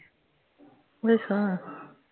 ਅੱਛਾ